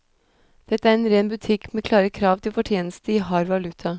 Dette er ren butikk, med klare krav til fortjeneste i hard valuta.